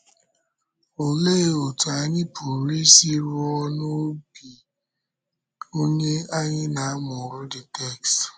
Òlee otú anyị pụrụ isi rùo n’obi onye anyị na-amụrụ the text?